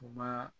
U ma